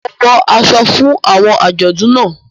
Mo wọ aṣọ fún awọn ajọdun náà.